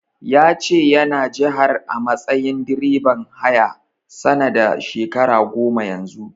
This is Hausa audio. Ya ce yana jihar a matsayin direban haya, sana da shekara goma Yanzu.